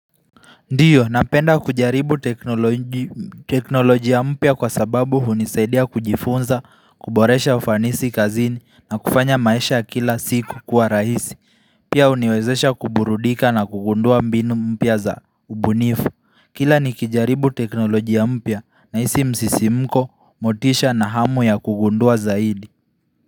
Ndiyo, napenda kujaribu teknoloji teknolojia mpya kwa sababu hunisaidia kujifunza, kuboresha ufanisi kazini na kufanya maisha ya kila siku kwa rahisi, pia huniwezesha kuburudika na kugundua mbinu mpya za ubunifu. Kila nikijaribu teknolojia mpya na hisi msisimko, motisha na hamu ya kugundua zaidi.